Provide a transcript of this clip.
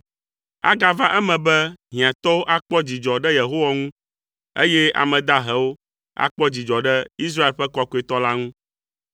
Agava eme be hiãtɔwo akpɔ dzidzɔ ɖe Yehowa ŋu, eye ame dahewo akpɔ dzidzɔ ɖe Israel ƒe kɔkɔetɔ la ŋu.